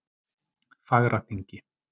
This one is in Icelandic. Fagraþingi